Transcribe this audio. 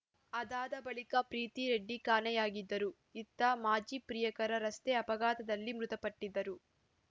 ಅದಾದ ಬಳಿಕ ಪ್ರೀತಿ ರೆಡ್ಡಿ ಕಾಣೆಯಾಗಿದ್ದರು ಇತ್ತ ಮಾಜಿ ಪ್ರಿಯಕರ ರಸ್ತೆ ಅಪಘಾತದಲ್ಲಿ ಮೃತಪಟ್ಟಿದ್ದರು